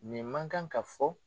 Nin man kan ka fɔ